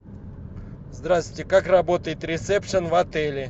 здравствуйте как работает ресепшен в отеле